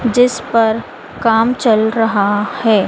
जिस पर काम चल रहा है।